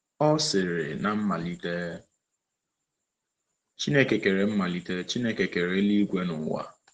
Ọ sịrị: “Na mmalite, Chineke kere mmalite, Chineke kere eluigwe na ụwa.”